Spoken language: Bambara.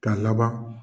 K'a laban